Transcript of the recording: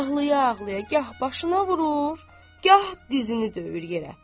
Ağlaya-ağlaya gah başına vurur, gah dizini döyür yerə.